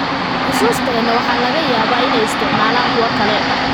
Xusuusteena waxaa laga yaabaa inay isticmaalaan kuwa kale.